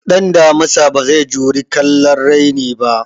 Ɗan damusa bazai juri kallon raini ba